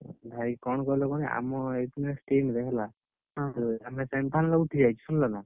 ଭାଇ କଣ କହିଲ କହନି ଆମର against team ରେ ହେଲା, ଆମେ semifinal ବେଳକୁ ଠିଆ ହେଇଛୁ ଶୁଣିଲନା।